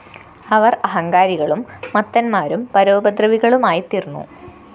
അവര്‍ അഹങ്കാരികളും മത്തന്മാരും പരോപദ്രവികളുമായിത്തീര്‍ന്നു